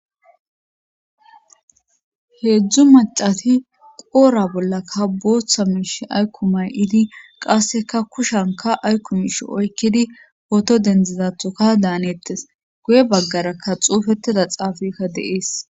Heedzdzu macati qoora bollakka booththa miish aykkumay idi qasseka kushanka aykumish oykkidi poto dendzizathuka daanettes guye baggarakka xuufettida xaafika deees.